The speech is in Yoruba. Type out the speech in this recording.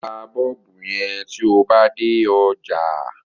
Ta Bọ́ọ̀bù yẹn tó ba dé ọjà.